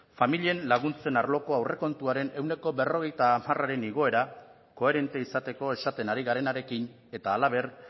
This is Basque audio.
familien laguntzen arloko aurrekontuaren ehuneko berrogeita hamararen igoera koherente izateko esaten ari garenarekin eta halaber